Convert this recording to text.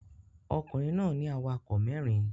Ọkùnrin náà ní awakọ̀ mẹ́rin